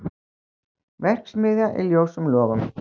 Verksmiðja í ljósum logum